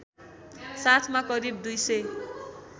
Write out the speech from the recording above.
साथमा करिब २००